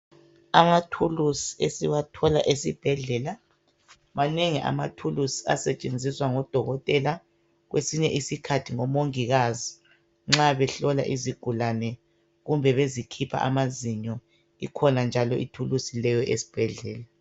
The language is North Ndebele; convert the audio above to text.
Amathuluzi esiwathola esibhedlela. Manengi amathuluzi asetshenziswa ngodokotela. Kwesinye isikhathi ngomongikazi nxa behlola izigulane kumbe bezikhipha amazinyo, ikhona njalo ithuluzi leyo esibhedlela.